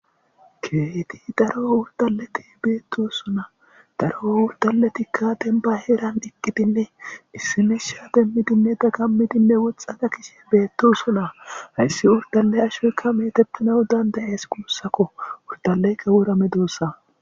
Keeti daro urdaleti beettosuna daro wurdaletikka denba heeran diqqidinne issimisha demmidinne dagammidinne woxxana kishe beetto suna hayssi urdale ashoykka meetettinau dandayees guussakko urdaleykka wora medoossa.